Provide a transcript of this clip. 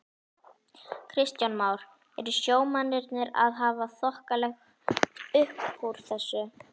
Kristján Már: Eru sjómennirnir að hafa þokkalegt uppúr þessu?